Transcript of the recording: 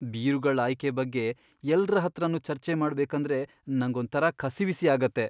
ಬೀರುಗಳ್ ಆಯ್ಕೆ ಬಗ್ಗೆ ಎಲ್ರ ಹತ್ರನೂ ಚರ್ಚೆ ಮಾಡ್ಬೇಕಂದ್ರೆ ನಂಗೊಂಥರ ಕಸಿವಿಸಿ ಆಗತ್ತೆ.